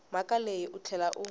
mhaka leyi u tlhela u